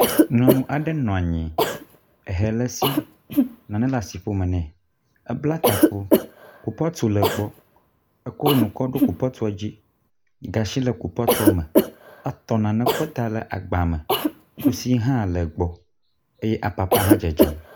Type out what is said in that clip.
nyɔnu aɖe nɔnyi hɛ le si naɖe nɔ asiƒome nɛ ébla taku kupɔtu le gbɔ éko nuwo kɔɖò kupɔtuɔ dzi gasi le kupɔtuɔ me, etɔ nane kɔ da le agba me kusi hã le gbɔ eye apapa hã dzedzem